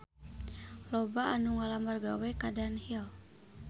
Loba anu ngalamar gawe ka Dunhill